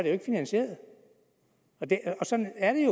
jo ikke finansieret sådan er